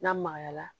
N'a magayara